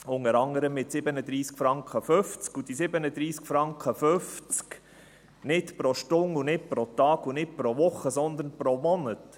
Diese 37,50 Franken sind nicht pro Stunde, nicht pro Tag und nicht pro Woche, sondern pro Monat.